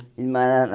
Ele mora lá.